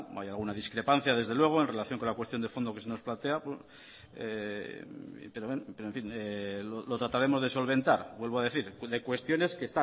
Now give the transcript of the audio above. hay alguna discrepancia desde luego en relación con la cuestión de fondo que se nos plantea pero en fin lo trataremos de solventar vuelvo a decir de cuestiones